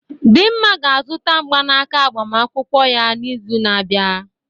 Dinma ga-azụta mgbanaka agbamakwụkwọ ya n'izu na-abịa.